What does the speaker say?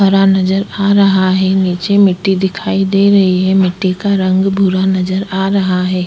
तारा नजर आ रहा है निचे मिट्टी दिखाई दे रही है मिट्टी का रंग भूरा नजर आ रहा है।